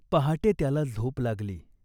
पहाटे त्याला झोप लागली.